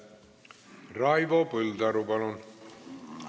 Raivo Põldaru, palun!